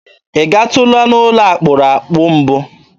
Ị gatụla n'ụlọ akpụrụakpụ mbụ?